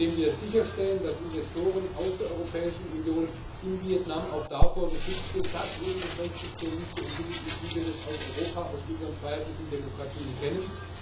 Wir müssen sicherstellen, dass Investoren aus der Europäischen Union in Vietnam auch davor geschützt sind, dass eben das Rechtssystem nicht so entwickelt ist, wie wir das aus Europa, aus unseren freiheitlichen Demokratien kennen.